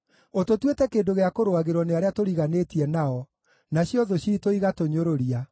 Ũtũtuĩte kĩndũ gĩa kũrũagĩrwo nĩ arĩa tũriganĩtie nao, nacio thũ ciitũ igatũnyũrũria.